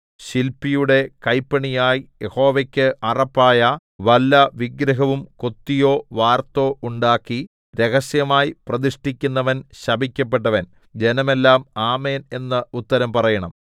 ശില്പിയുടെ കൈപ്പണിയായി യഹോവയ്ക്ക് അറപ്പായ വല്ല വിഗ്രഹവും കൊത്തിയോ വാർത്തോ ഉണ്ടാക്കി രഹസ്യമായി പ്രതിഷ്ഠിക്കുന്നവൻ ശപിക്കപ്പെട്ടവൻ ജനമെല്ലാം ആമേൻ എന്ന് ഉത്തരം പറയണം